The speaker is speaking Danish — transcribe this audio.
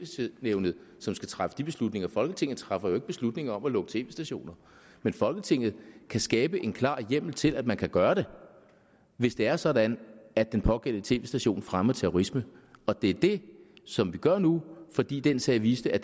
tv nævnet som skal træffe de beslutninger folketinget træffer jo ikke beslutning om at lukke tv stationer men folketinget kan skabe en klar hjemmel til at man kan gøre det hvis det er sådan at den pågældende tv station fremmer terrorisme og det er det som vi gør nu fordi den sag viste at